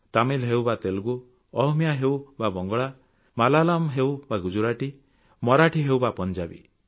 ତାମିଲ ହେଉ ବା ତେଲଗୁ ଅହମିଆ ହେଉ ବା ବଙ୍ଗଳା ମଲୟାଲମ ହେଉ ବା ଗୁଜରାତି ମରାଠି ହେଉ ବା ପଞ୍ଜାବୀ